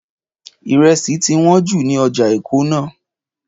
Ìrẹsì ti wọ́n jù ní ọjà Èkó náà